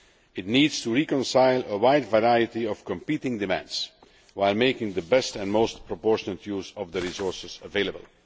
It needs to reconcile a wide variety of competing demands, while making the best and most proportionate use of the resources available.